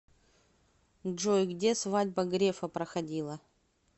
джой где свадьба грефа проходила